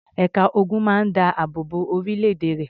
Ẹ̀ka ogun máa ń dáàbò bo orílẹ̀-èdè rẹ̀.